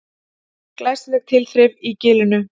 Glæsileg tilþrif í Gilinu